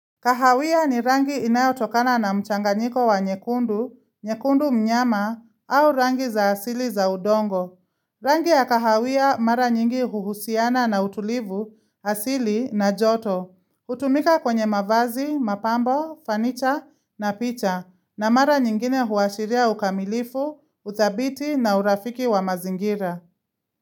Kahawia ni rangi inayotokana na mchanganyiko wa nyekundu, nyekundu mnyama au rangi za asili za udongo. Rangi ya kahawia mara nyingi huhusiana na utulivu, asili na joto. Utumika kwenye mavazi, mapambo, fanicha na picha na mara nyingine huashiria ukamilifu, uthabiti na urafiki wa mazingira.